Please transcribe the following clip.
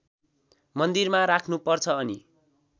मन्दिरमा राख्नुपर्छ अनि